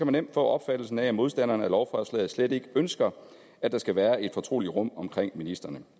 nemt få opfattelsen af at modstanderne af lovforslaget slet ikke ønsker at der skal være et fortroligt rum omkring ministrene